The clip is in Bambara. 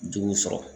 Juguw sɔrɔ